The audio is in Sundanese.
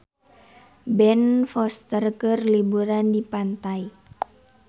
Ben Foster keur liburan di pantai